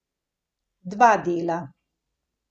Dva dela.